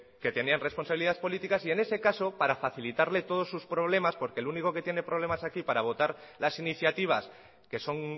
que tenían responsabilidad política y en ese caso para facilitarle todos sus problemas porque el único que tiene problemas aquí para votar las iniciativas que son